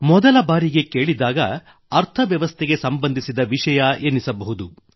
ಮೊದಲ ಬಾರಿಗೆ ಕೇಳಿದಾಗ ಅರ್ಥವ್ಯವಸ್ಥೆಗೆ ಸಂಬಂಧಿಸಿದ ವಿಷಯ ಅನ್ನಿಸಬಹುದು